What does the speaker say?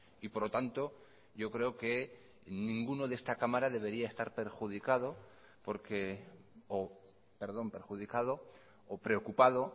por lo tanto yo creo que ninguno de esta cámara debería de estar perjudicado o preocupado